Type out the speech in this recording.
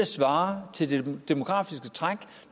svarer til det demografiske træk